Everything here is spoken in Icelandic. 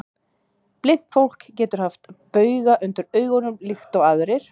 Blint fólk getur haft bauga undir augum líkt og aðrir.